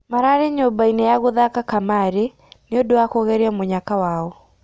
Mararĩ nyũmbainĩ ya gũthaka kamarĩ, nĩũndũ wa kũgeria mũnyaka wao.